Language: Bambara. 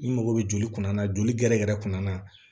Ni mɔgɔ bɛ joli kunna joli gɛrɛgɛrɛ yɛrɛ kunna